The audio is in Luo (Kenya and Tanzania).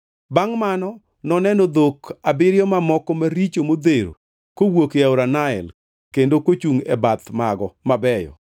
Bangʼ mano noneno dhok abiriyo mamoko maricho modhero kowuok ei aora Nael, kendo kochungʼ e bath mago mabeyo.